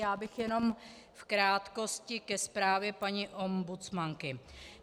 Já bych jenom v krátkosti ke zprávě paní ombudsmanky.